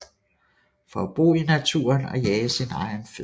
For at bo i naturen og jage sin egen føde